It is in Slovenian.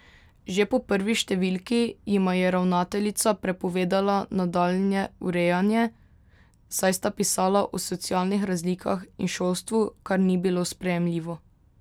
Že po prvi številki jima je ravnateljica prepovedala nadaljnje urejanje, saj sta pisala o socialnih razlikah in šolstvu, kar ni bilo sprejemljivo.